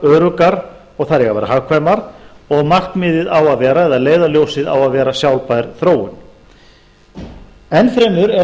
öruggar og þær eiga að vera hagkvæmar og markmiðið eða leiðarljósið á að vera sjálfbær þróun enn fremur er